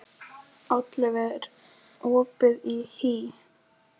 Oddleif, er opið í HÍ?